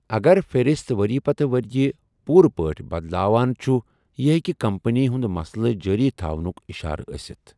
اگر فِہرسَت ورۍ یہِ پتہٕ ورۍ یہِ پوٗرٕ پٲٹھۍ بدلاوان چھُ، یہِ ہیٚکہِ کمپنی ہنٛدۍ مسلہٕ جٲری تھونھک اِشارٕ ٲسِتھ۔